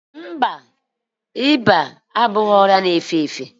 Ọ dịghị ịba abụghị ọrịa na-efe efe.